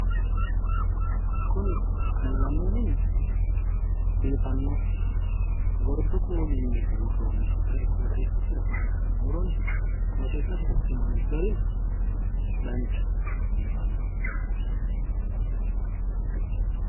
Kuni gallanni mini biifano gordu kuulinni buurroni garinna qoxxeesasi agarronni gari biifanoho